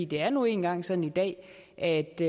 det er nu engang sådan i dag at det